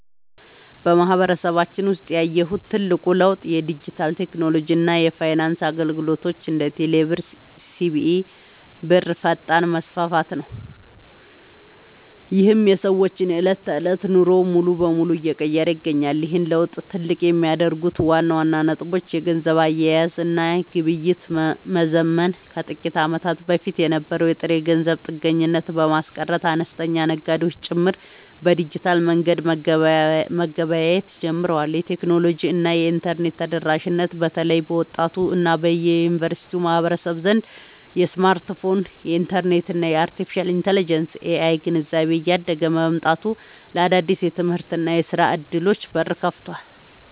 በማህበረሰባችን ውስጥ ያየሁት ትልቁ ለውጥ የዲጂታል ቴክኖሎጂ እና የፋይናንስ አገልግሎቶች (እንደ ቴሌብር እና ሲቢኢ ብር) ፈጣን መስፋፋት ነው፤ ይህም የሰዎችን የዕለት ተዕለት ኑሮ ሙሉ በሙሉ እየቀየረ ይገኛል። ይህን ለውጥ ትልቅ የሚያደርጉት ዋና ዋና ነጥቦች - የገንዘብ አያያዝ እና ግብይት መዘመን፦ ከጥቂት ዓመታት በፊት የነበረውን የጥሬ ገንዘብ ጥገኝነት በማስቀረት፣ አነስተኛ ነጋዴዎች ጭምር በዲጂታል መንገድ መገበያየት ጀምረዋል። የቴክኖሎጂ እና የኢንተርኔት ተደራሽነት፦ በተለይ በወጣቱ እና በዩኒቨርሲቲ ማህበረሰብ ዘንድ የስማርትፎን፣ የኢንተርኔት እና የአርቴፊሻል ኢንተለጀንስ (AI) ግንዛቤ እያደገ መምጣቱ ለአዳዲስ የትምህርትና የሥራ ዕድሎች በር ከፍቷል።